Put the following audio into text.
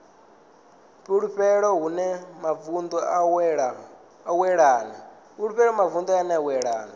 fulufulu hune mavu a wanala